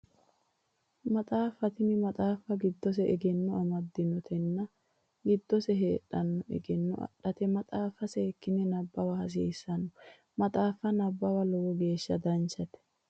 Maxaaffa tini maxaaffa giddose egenno ammaddannote tenne giddose heedhanno egenno adhate maxaaffa seekkine nabbawa hasiissanno maxaaffa nabbawa lowo geeshsha danchate